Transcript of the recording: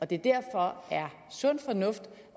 det derfor er sund fornuft